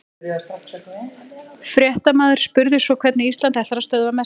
Fréttamaður spurði svo hvernig Ísland ætlar að stöðva Messi?